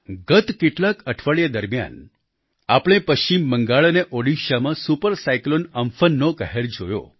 ગત કેટલાક અઠવાડિયા દરમિયાન આપણે પશ્ચિમ બંગાળ અને ઓડિશામાં સુપર સાયક્લોન અમ્ફનનો કહેર જોયો